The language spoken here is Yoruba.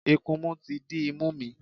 Ikunmu ti dí imú mi.